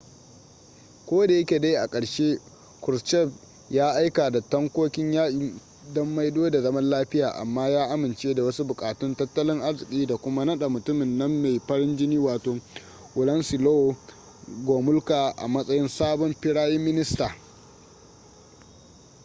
kodayake dai a ƙarshe kruschev ya aika da tankokin yaƙi don maido da zaman lafiya amma ya amince da wasu buƙatun tattalin arziki da kuma naɗa mutumin nan mai farin jini wato wladyslaw gomulka a matsayin sabon firayin minista